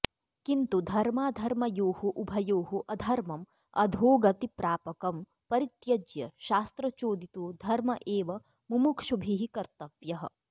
किन्तु धर्माधर्मयोः उभयोः अधर्मं अधोगतिप्रापकं परित्यज्य शास्त्रचोदितो धर्म एव मुमुक्षुभिः कर्तव्यः